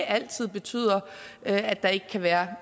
altid betyder at der ikke kan være